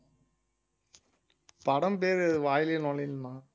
படம் பேரு வாயிலேயே நுழையலண்ணா